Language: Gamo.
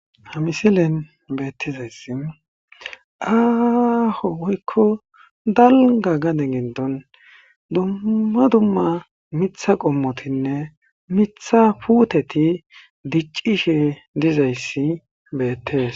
Ha misilen beeththizayssi aaho woykko dalgga gade giddon dumma dumma miththa qommothinne miththa puuthethi diccishee dizayssi beeththees.